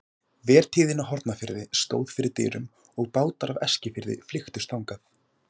Vertíðin á Hornafirði stóð fyrir dyrum og bátar af Eskifirði flykktust þangað.